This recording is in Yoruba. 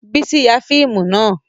Bísí ya fíìmù náà